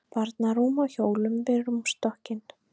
Barnarúm á hjólum við rúmstokkinn.